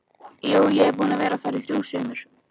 Jú, ég er búinn að vera þar í þrjú sumur